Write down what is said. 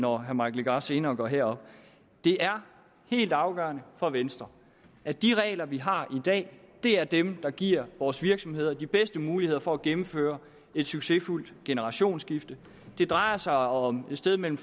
når herre mike legarth senere går herop det er helt afgørende for venstre at de regler vi har i dag er dem der giver vores virksomheder de bedste muligheder for at gennemføre et succesfuldt generationsskifte det drejer sig om et sted mellem